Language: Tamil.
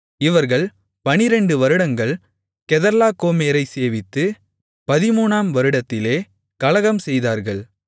இவர்கள் 12 வருடங்கள் கெதர்லாகோமேரைச் சேவித்து 13 ஆம் வருடத்திலே கலகம் செய்தார்கள்